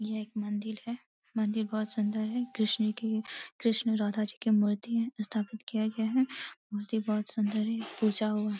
ये एक मंदिल है। मंदिल बहोत सुंदर है। कृष्ण जी की कृष्ण राधा जी की मूर्ति है स्थापित किया गया है। मूर्ति बहोत सुंदर है। पूजा हो --